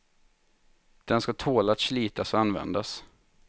Den skall tåla att slitas och användas.